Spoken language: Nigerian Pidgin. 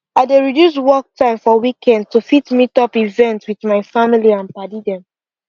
i dey reduce work time for weekends to fit meet up events with my family and padi dem